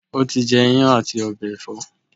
o ti jẹ iyán ati ọbẹ ẹfọ?